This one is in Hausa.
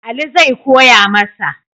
Ali zai koya masa.